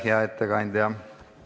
Aitäh, hea ettekandja!